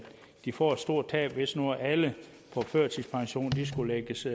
de får et stort tab hvis nu alle på førtidspension skulle lægges